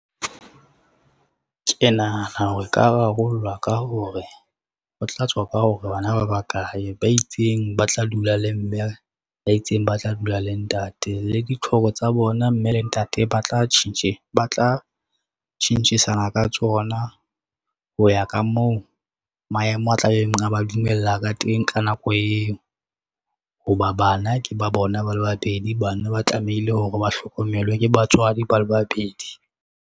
Ke nahana hore e ka rarollwa ka hore, ho tla tswa ka hore bana ba bakae ba itseng ba tla dula le mme, ba itseng ba tla dula le ntate le ditlhoko tsa bona mme le ntate ba tla tjhentjhisana ka tsona, ho ya ka moo maemo a tlabeng a ba dumella ka teng ka nako eo. Ho ba bana ke ba bona ba le babedi, bana ba tlamehile hore ba hlokomelwe ke batswadi ba le babedi.